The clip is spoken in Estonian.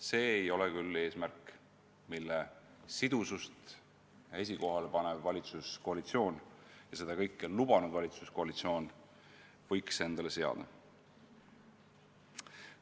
See ei ole küll eesmärk, mille sidusust esikohale panev valitsuskoalitsioon – ja seda kõike on valitsuskoalitsioon lubanud – võiks endale seada.